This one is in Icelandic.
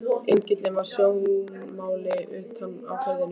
Engillinn var í sjónmáli utar í firðinum.